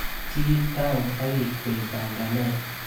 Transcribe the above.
Chiil tau agikwei panganet